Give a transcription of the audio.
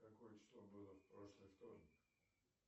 какое число было в прошлый вторник